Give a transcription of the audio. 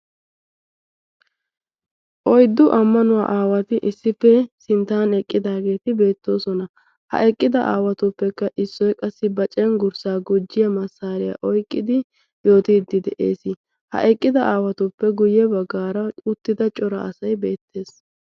oyddu ammanuwaa aawati issippe sinttan eqqidaageeti beettoosona ha eqqida aawatuppekka issoy qassi ba cenggurssaa gujjiya massaariyaa oyqqidi yootiiddi de'ees ha eqqida aawatuppe guyye baggaara uttida cora asay beettees